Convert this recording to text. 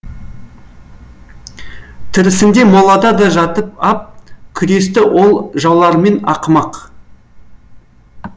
тірісінде молада да жатып ап күресті ол жауларымен ақымақ